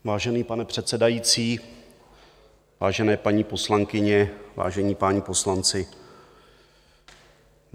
Vážený pane předsedající, vážené paní poslankyně, vážení páni poslanci.